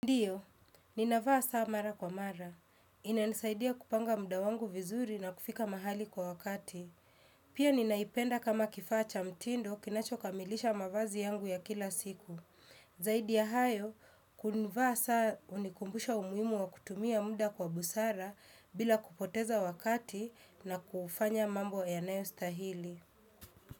Ndiyo, ninavaa saa mara kwa mara. Inanisaidia kupanga muda wangu vizuri na kufika mahali kwa wakati. Pia ninaipenda kama kifaa cha mtindo kinacho kamilisha mavazi yangu ya kila siku. Zaidi ya hayo, kunivaa saa hunikumbusha umuhimu wa kutumia muda kwa busara bila kupoteza wakati na kufanya mambo yanayo stahili.